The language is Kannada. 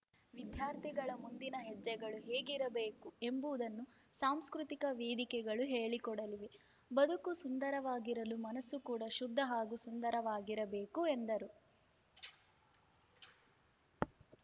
ವಿದ್ಯಾರ್ಥಿಗಳ ಮುಂದಿನ ಹೆಜ್ಜೆಗಳು ಹೇಗಿರಬೇಕು ಎಂಬುದನ್ನು ಸಾಂಸ್ಕೃತಿಕ ವೇದಿಕೆಗಳು ಹೇಳಿಕೊಡಲಿವೆ ಬದುಕು ಸುಂದರವಾಗಿರಲು ಮನಸ್ಸು ಕೂಡ ಶುದ್ಧ ಹಾಗೂ ಸುಂದರವಾಗಿರಬೇಕು ಎಂದರು